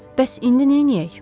Bəs indi neyləyək?